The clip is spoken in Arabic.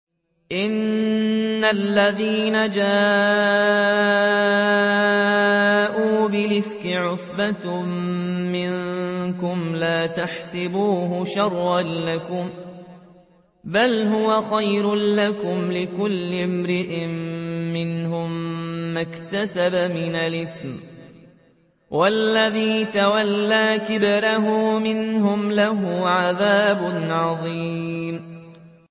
إِنَّ الَّذِينَ جَاءُوا بِالْإِفْكِ عُصْبَةٌ مِّنكُمْ ۚ لَا تَحْسَبُوهُ شَرًّا لَّكُم ۖ بَلْ هُوَ خَيْرٌ لَّكُمْ ۚ لِكُلِّ امْرِئٍ مِّنْهُم مَّا اكْتَسَبَ مِنَ الْإِثْمِ ۚ وَالَّذِي تَوَلَّىٰ كِبْرَهُ مِنْهُمْ لَهُ عَذَابٌ عَظِيمٌ